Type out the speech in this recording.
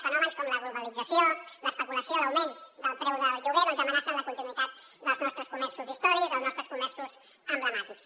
fenòmens com la globalització l’especulació l’augment del preu del lloguer amenacen la continuïtat dels nostres comerços històrics els nostres comerços emblemàtics